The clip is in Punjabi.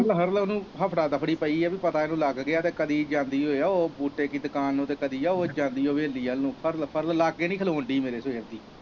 ਮੈਂ ਕਿਹਾ ਫੜਲੋ ਫੜਲੋ ਉਨੂੰ ਹਫੜਾ ਦਫੜੀ ਪਈ ਆ ਕਿ ਪਤਾ ਇੰਨੂ ਲੱਗ ਗਿਆ ਤੇ ਕਦੀ ਜਾਂਦੀ ਆ ਓ ਬੂਟੇ ਕੀ ਦੁਕਾਨ ਨੂੰ, ਤੇ ਕਦੀ ਓ ਜਾਂਦੀ ਹਵੇਲੀ ਵੱਲ ਨੂੰ ਫੜਲੋ ਫੜਲੋ ਲਾਗੇ ਨੀ ਖਲੋਣ ਦੀ ਮੇਰੇ ਸਵੇਰੇ।